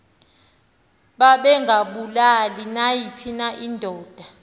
babengabulali nayiphi indoda